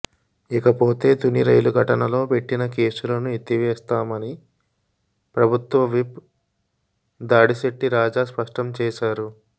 ఇకపోతే తుని రైలు ఘటనలో పెట్టిన కేసులను ఎత్తివేస్తామని ప్రభుత్వ విప్ దాడిశెట్టి రాజా స్పష్టం చేశారు